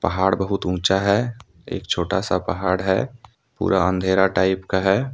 पहाड़ बहुत ऊंचा है एक छोटा सी पहाड़ है पूरा अंधेरा टाइप का है।